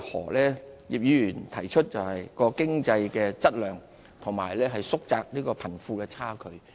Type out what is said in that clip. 葉劉淑儀議員提出就是經濟的質量和縮窄貧富的差距。